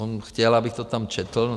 On chtěl, abych to tam četl.